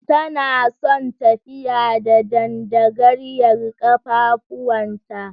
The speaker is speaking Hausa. Tana son tafiya da dandagaryar kafafuwanta.